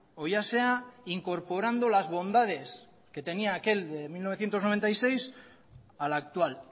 o ya sea incorporando las bondades que tenía aquel de mil novecientos noventa y seis a la actual